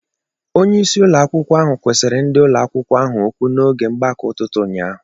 Onye isi ụlọ akwụkwọ ahụ kwusiri ndị ụlọ akwụkwọ ahụ okwu n'oge mgbakọ ụtụtụ ụnyaahụ.